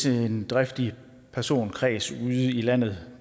en eller anden driftig personkreds ude i landet